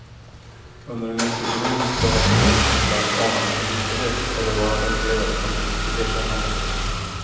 Under en lite ironisk behärskning kan ibland anas en bitterhet över vad han upplever som brist på erkännande.